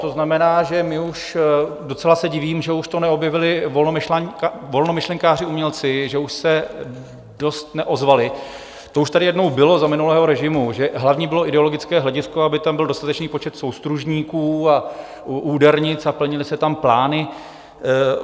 To znamená, že my už - docela se divím, že už to neobjevili volnomyšlenkáři umělci, že už se dost neozvali - to už tady jednou bylo za minulého režimu, že hlavní bylo ideologické hledisko, aby tam byl dostatečný počet soustružníků a údernic a plnily se tam plány.